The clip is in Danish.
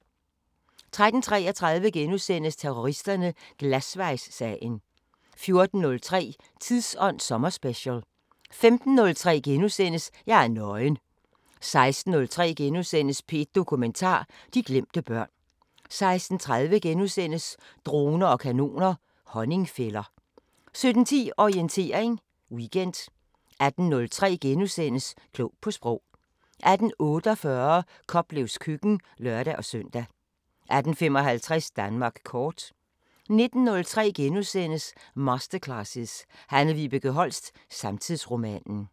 13:33: Terroristerne: Glasvejssagen * 14:03: Tidsånd sommerspecial 15:03: Jeg er nøgen * 16:03: P1 Dokumentar: De glemte børn * 16:30: Droner og kanoner: Honningfælder * 17:10: Orientering Weekend 18:03: Klog på Sprog * 18:48: Koplevs køkken (lør-søn) 18:55: Danmark kort 19:03: Masterclasses – Hanne Vibeke Holst: Samtidsromanen *